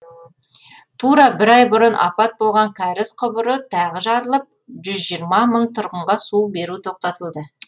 тура бір ай бұрын апат болған кәріз құбыры тағы жарылып жүз жиырма мың тұрғынға су беру тоқтатылды